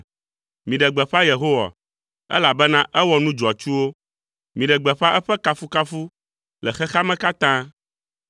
Miɖe gbeƒã Yehowa, elabena ewɔ nu dzɔatsuwo, miɖe gbeƒã eƒe kafukafu le xexea me katã.